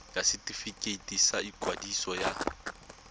ya setefikeiti sa ikwadiso ya